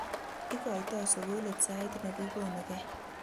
ikoito sukulit sait nekikonukei